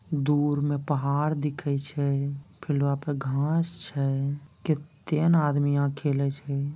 दूर में पहाड़ दिखे छै फिर वहाँ पे घांस छै कित्ते ने आदमी यहाँ खेले छै।